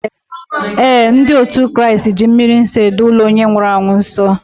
Ee, ndị otu Kraịst ji mmri nsọ edo ụlọ onye nwụrụ anwụ nsọ